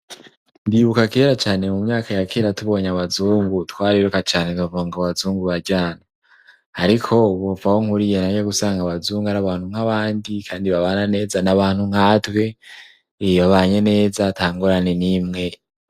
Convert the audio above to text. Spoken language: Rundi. Ndibuka kera cane mu myaka ya kera tubonye abazungu twariruka cane tukavuga ngo abazungu bararyana, ariko ubu kuva aho nkuriye naje gusanga abazungu ari abantu nk'abandi kandi babana neza n'abantu nkatwe, iyo babanye neza tangorane n'imwe.